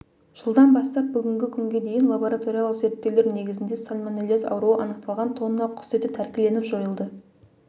жылдан бастап бүгінгі күнге дейін лабораториялық зерттеулер негізінде сальмонеллез ауруы анықталған тонна құс еті тәркіленіп жойылды